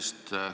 Aitäh!